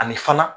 Ani fana